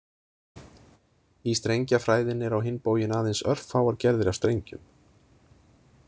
Í strengjafræðinni eru á hinn bóginn aðeins örfáar gerðir af strengjum.